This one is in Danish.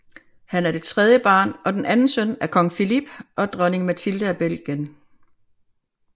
Han er det tredje barn og den anden søn af Kong Philippe og Dronning Mathilde af Belgien